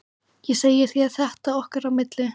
Ég segi þér þetta okkar á milli